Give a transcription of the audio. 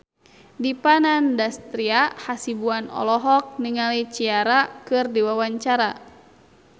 Dipa Nandastyra Hasibuan olohok ningali Ciara keur diwawancara